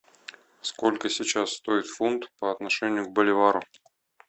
сколько сейчас стоит фунт по отношению к боливару